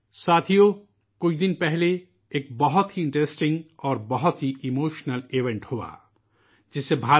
دوستو، چند روز قبل ایک بڑا ہی دلچسپ اور جذباتی واقعہ پیش آیا، جس نے بھارت